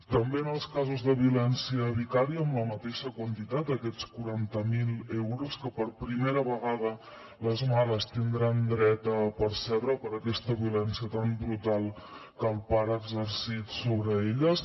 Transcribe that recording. també en els casos de violència vicària amb la mateixa quantitat aquests quaranta mil euros que per primera vegada les mares tindran dret a percebre per aquesta violència tan brutal que el pare ha exercit sobre elles